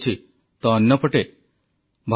August 29 ରେ ଆରମ୍ଭ ହେବ ଫିଟ ଇଣ୍ଡିଆ ଅଭିଯାନ